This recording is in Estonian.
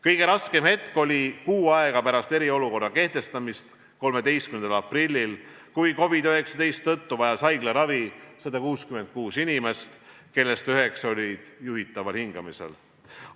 Kõige raskem hetk oli kuu aega pärast eriolukorra kehtestamist, 13. aprillil, kui COVID-19 tõttu vajas haiglaravi 166 inimest, kellest üheksa olid juhitaval hingamisel.